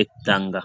etanga.